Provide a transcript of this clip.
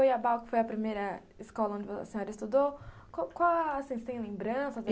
E em Goiabal, que foi a primeira escola onde a senhora estudou, qual qual vocês têm lembranças?